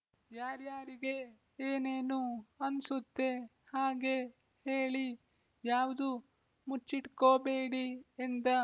ಯಾರ್ಯಾರಿಗೆ ಏನೇನು ಅನ್ಸುತ್ತೆ ಹಾಗೇ ಹೇಳಿ ಯಾವ್ದೂ ಮುಚ್ಚಿಟ್ಕೋಬೇಡಿ ಎಂದ